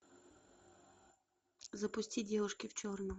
запусти девушки в черном